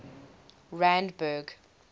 randburg